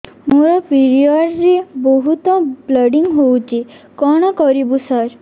ମୋର ପିରିଅଡ଼ ରେ ବହୁତ ବ୍ଲିଡ଼ିଙ୍ଗ ହଉଚି କଣ କରିବୁ ସାର